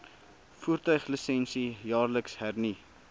voertuiglisensie jaarliks hernu